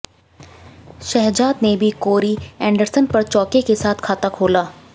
शहजाद ने भी Corey Anderson पर चौके के साथ खाता खोला